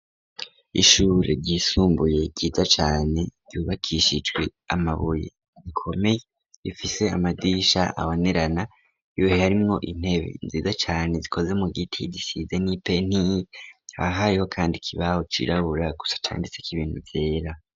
Ishuri ryisumbuye ryiza cane ryubakishijwe amabuye akomeye rifise amadirisha abonerana yuhe arimwo intebe nziza cane zikoze mugiti gisize nk'identi hakaba hariho ikibaho cirabura gusa canditseko ibintu vyera.